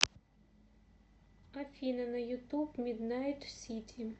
афина на ютуб миднайт сити